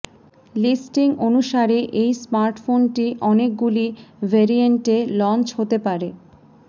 listing অনুসারে এই স্মার্টফোনটি অনেক গুলি ভেরিয়েন্টে লঞ্চ হতে পারে